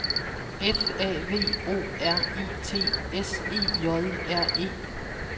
F A V O R I T S E J R E